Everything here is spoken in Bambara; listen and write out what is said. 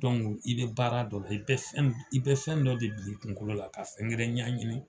Dɔnku i bɛ baara dɔ la, i bɛ fɛn dɔ de bila i kungolo la ka fɛn wɛrɛ ɲɛɲini.